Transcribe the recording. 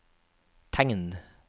tegn